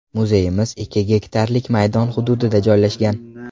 Muzeyimiz ikki gektarlik maydon hududida joylashgan.